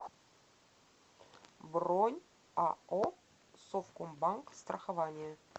бронь ао совкомбанк страхование